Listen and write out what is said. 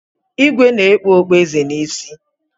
Ìgwè na-ekpu okpu eze n'isi.